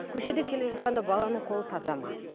көшеде келе жатқанда баланың қолы таза ма